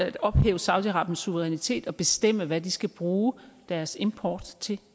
at ophæve saudi arabiens suverænitet og bestemme hvad de skal bruge deres import til